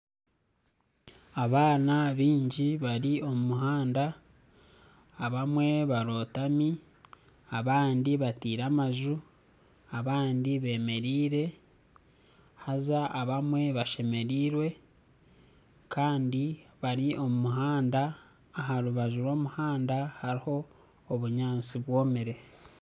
Abaana baingi bari omu muhanda abamwe barotami abandi bateire amaju abandi bemereire haza abamwe bashemereirwe Kandi bari omu muhanda aha rubaju rw'omuhanda hariho obunyatsi bwomire